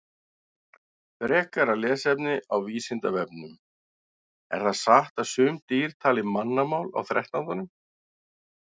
Frekara lesefni á Vísindavefnum: Er það satt að sum dýr tali mannamál á þrettándanum?